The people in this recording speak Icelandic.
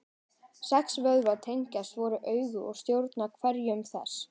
Sex vöðvar tengjast hvoru auga og stjórna hreyfingum þess.